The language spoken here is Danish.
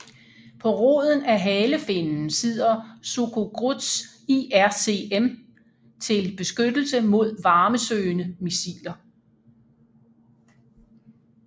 På roden af halefinnen sidder Sukhogruz IRCM til beskyttelse mod varmesøgende missiler